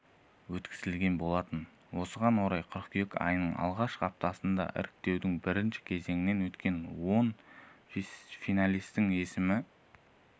өткізген болатын осыған орай қыркүйек айының алғашқы аптасында іріктеудің бірінші кезеңінен өткен он финалистің есімі